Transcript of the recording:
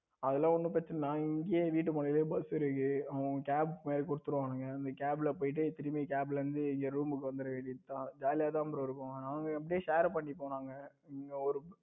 அதெல்லாம் ஒன்னும் பிரச்சனை இல்ல நாங்க இங்கேயே வீட்டு பக்கத்துல bus இருக்கு அவங்க அவங்க cap மாதிரி கொடுத்துடுவாங்க cap போயிட்டு cap இருந்து திரும்பி room வந்துற வேண்டியதுதான் ஜாலியா தான் bro இருக்கும் ஆனாலும் அப்படியே share பண்ணிப்போம் நாங்க இங்க ஒரு